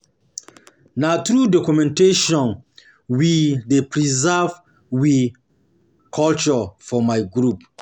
Na through documentation through documentation we dey preserve we culture for my group.